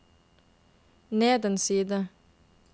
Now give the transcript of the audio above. ned en side